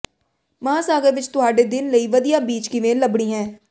ਮਹਾਂਸਾਗਰ ਵਿਚ ਤੁਹਾਡੇ ਦਿਨ ਲਈ ਵਧੀਆ ਬੀਚ ਕਿਵੇਂ ਲੱਭਣੀ ਹੈ